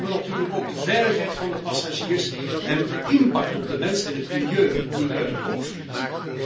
Maar laten we natuurlijk ook de veiligheid van de passagiers en de impact op de mens en het milieu niet uit het oog verliezen.